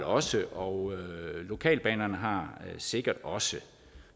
også og lokalbanerne har sikkert også